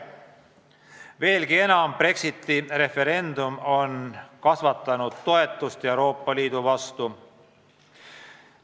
Veelgi enam, Brexiti referendum on kasvatanud Euroopa Liidu toetust.